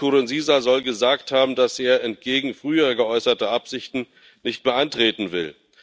Nkurunziza soll gesagt haben, dass er entgegen früher geäußerten Absichten nicht mehr antreten will.